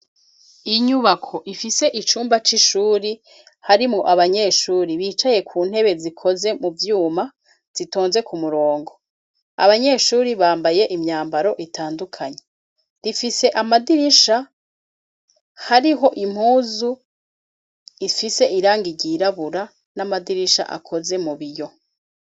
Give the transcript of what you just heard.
Inyubako ifise icumba c'ishure, harimwo abanyeshure bicaye ku ntebe zikoze mu vyuma, zitonze ku murongo. Abanyeshure bambaye imyambaro itandukanye. Rifise amadirisha, hariho impuzu ifise irangi ryi'rabura n'amadirisha akoze mu biyo.